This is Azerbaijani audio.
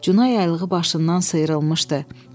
Cuna yaylığı başından sıyrılmışdı.